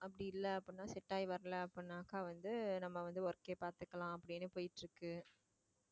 அப்படி இல்லை அப்படின்னா set ஆகி வரலை அப்படின்னாக்கா வந்து வந்து work கே பாத்துக்கலாம் அப்படின்னு போயிட்டு இருக்கு